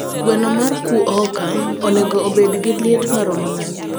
gweno mar kuoka onego obed gi liet marom nade